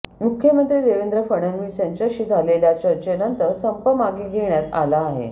मुख्यमंत्री देवेंद्र फडणवीस यांच्याशी झालेल्या चर्चेनंतर संप मागे घेण्यात आला आहे